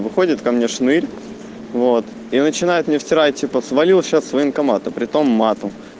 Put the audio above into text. выходит ко мне шнырь вот и начинает мне втирать типа свалил сейчас с военкомата притом матом